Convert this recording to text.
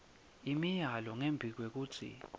imiyalo ngembi kwekutsi